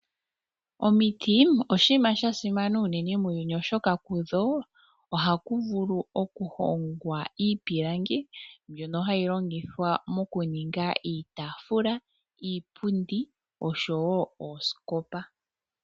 Omiti oshiima sha simana uunene myuyuni , oshoka kudho ohaku vulu oku hongwa iipilangi ndjono hayi longithwa mokuninga iitaafula, iipundi oshowo ooskopa.